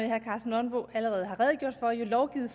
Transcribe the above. herre karsten nonbo allerede har redegjort for jo lovgivet